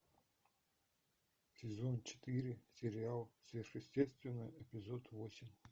сезон четыре сериал сверхъестественное эпизод восемь